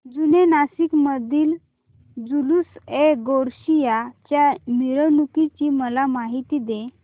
जुने नाशिक मधील जुलूसएगौसिया च्या मिरवणूकीची मला माहिती दे